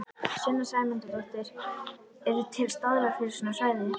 Sunna Sæmundsdóttir: Eru til staðlar fyrir svona svæði?